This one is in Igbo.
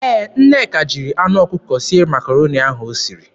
Ee, Nneka jiri anụ ọkụkọ sie Makaroni ahụ o siri.